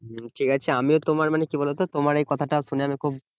হম ঠিকাছে আমিও তোমার মানে কি বলতো তোমার এই কথা তা শুনে আমি খুব